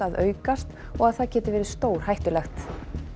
að aukast og það geti verið stórhættulegt